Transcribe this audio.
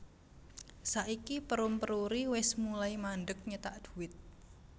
Saiki Perum Peruri wes mulai mandeg nyetak duit